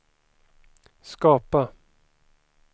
skapa